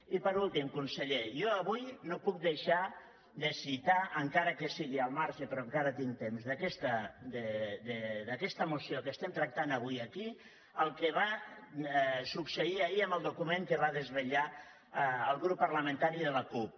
i per últim conseller jo avui no puc deixar de citar encara que sigui al marge però encara tinc temps d’aquesta moció que estem tractant avui aquí el que va succeir ahir amb el document que va desvelar el grup parlamentari de la cup